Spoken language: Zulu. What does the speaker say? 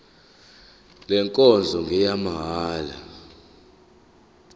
le nkonzo ngeyamahala